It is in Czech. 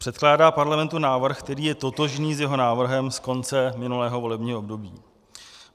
Předkládá Parlamentu návrh, který je totožný s jeho návrhem z konce minulého volebního období.